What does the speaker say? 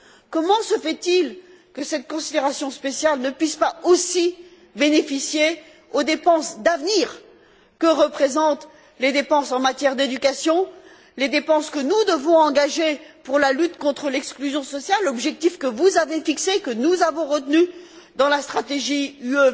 Comment se fait il que cette considération spéciale ne puisse pas aussi bénéficier aux dépenses d'avenir que représentent les dépenses en matière d'éducation, les dépenses que nous devons engager pour la lutte contre l'exclusion sociale, objectif que vous avez fixé et que nous avons retenu dans la stratégie Europe